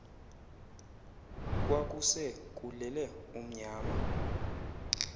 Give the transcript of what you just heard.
kwakuse kulele umnyama